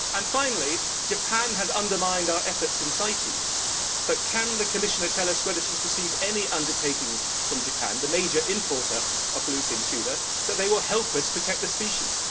Finally, Japan has undermined our efforts in CITES, but can the Commissioner tell us whether she has received any undertakings from Japan, the major importer of bluefin tuna, that they will help us protect the species?